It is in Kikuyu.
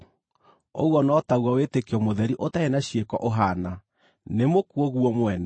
Ũguo no taguo wĩtĩkio mũtheri ũtarĩ na ciĩko ũhaana, nĩ mũkuũ guo mwene.